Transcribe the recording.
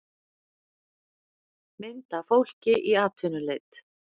mynd af fólki í atvinnuleit